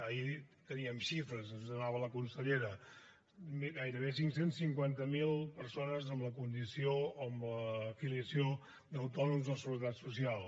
ahir teníem xifres ens les donava la consellera gairebé cinc cents i cinquanta miler persones amb la condició o amb la filiació d’autònoms a la seguretat social